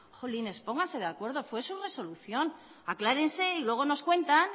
jolines pónganse de acuerdo fue su resolución aclárense y luego nos cuenta